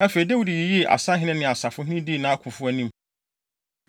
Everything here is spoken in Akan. Afei, Dawid yiyii asahene ne asafohene dii nʼakofo anim.